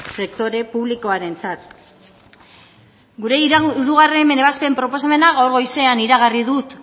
sektore publikoarentzat gure hirugarren ebazpen proposamena gaur goizean iragarri dut